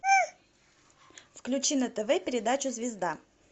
включи на тв передачу звезда